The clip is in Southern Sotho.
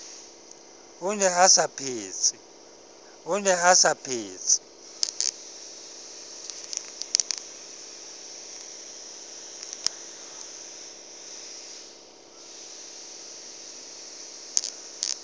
o ne a sa phetse